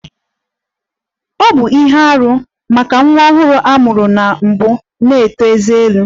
Ọ bụ ihe arụ maka nwa ọhụrụ a mụrụ na mbụ na-eto ezé elu